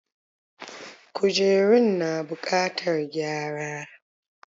Kujerun na bukatar gyara.